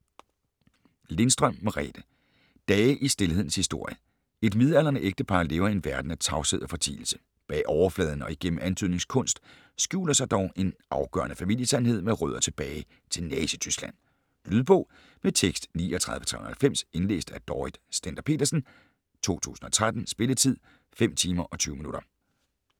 Lindstrøm, Merethe: Dage i stilhedens historie Et midaldrende ægtepar lever i en verden af tavshed og fortielse. Bag overfladen og igennem antydningens kunst skjuler sig dog en afgørende familiesandhed med rødder tilbage til Nazityskland. Lydbog med tekst 39390 Indlæst af Dorrit Stender-Petersen, 2013. Spilletid: 5 timer, 20 minutter.